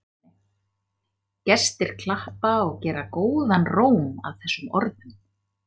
Gestir klappa og gera góðan róm að þessum orðum.